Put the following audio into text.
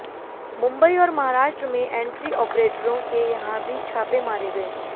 मुंबई और महाराष्ट्र में एंट्री आपरेटरों के यहां भी छापे मारे गए